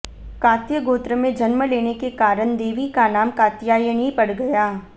कात्य गोत्र में जन्म लेने के कारण देवी का नाम कात्यायनी पड़ गया